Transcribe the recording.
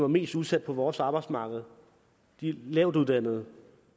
mest udsatte på vores arbejdsmarked de lavtuddannede